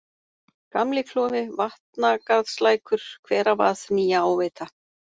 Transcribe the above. Gamli-Klofi, Vatnagarðslækur, Hveravað, Nýja-Áveita